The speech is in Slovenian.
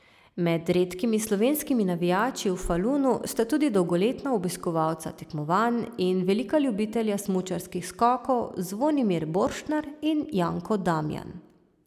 Med redkimi slovenskimi navijači v Falunu sta tudi dolgoletna obiskovalca tekmovanj in velika ljubitelja smučarskih skokov Zvonimir Borštnar in Janko Damjan.